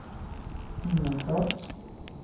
Ingelstad